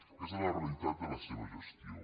aquesta és la realitat de la seva gestió